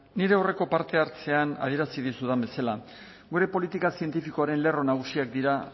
nire aurreko parte hartzean adierazi dizudan bezala gure politika zientifikoaren lerro nagusiak dira